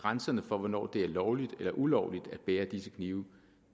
grænserne for hvornår det er lovligt eller ulovligt at bære disse knive